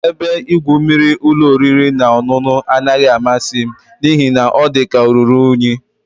Ebe igwu mmiri ụlọ oriri na ọṅụṅụ anaghị amasị m n'ihi na ọ dị ka o ruru unyi